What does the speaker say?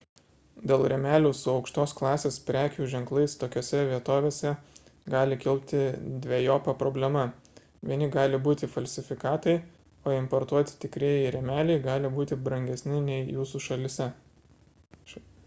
dėl rėmelių su aukštos klasės prekių ženklais tokiose vietovėse gali kilti dvejopa problema vieni gali būti falsifikatai o importuoti tikrieji rėmeliai gali būti brangesni nei jūsų šalyje